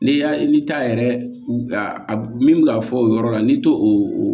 N'i y'a ni ta yɛrɛ a min bɛ ka fɔ o yɔrɔ la n'i to o